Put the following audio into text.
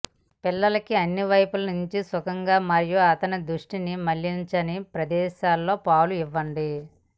పిల్లలకి అన్ని వైపుల నుండి సుఖంగా మరియు అతని దృష్టిని మళ్లించని ప్రదేశంలో పాలు ఇవ్వండి